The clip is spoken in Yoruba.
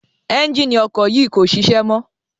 Ẹ́njíìnì ọkọ̀ yìí kò ṣiṣẹ́ mọ́.